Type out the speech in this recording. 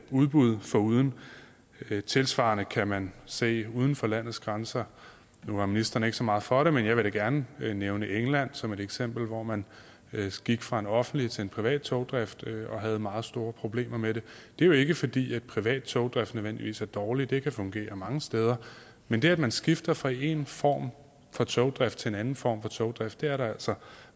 udbud foruden tilsvarende kan man se uden for landets grænser nu var ministeren ikke så meget for det men jeg vil da gerne nævne england som et eksempel hvor man gik fra en offentlig til en privat togdrift og havde meget store problemer med det det er jo ikke fordi en privat togdrift nødvendigvis er dårlig det kan fungere mange steder men det at man skifter fra en form for togdrift til en anden form for togdrift er der altså